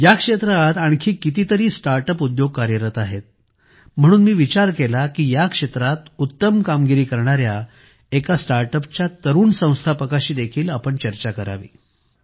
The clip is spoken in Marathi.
या क्षेत्रात आणखी कितीत्तारी स्टार्ट अप उद्योग कार्यरत आहेत म्हणून मी विचार केला की या क्षेत्रात उत्तम कामगिरी करणाऱ्या एका स्टार्ट अपच्या तरुण संस्थापकाशी देखील चर्चा करावी